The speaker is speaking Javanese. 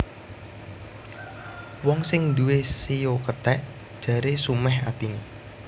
Wong sing nduwé shio kethèk jaré sumèh atiné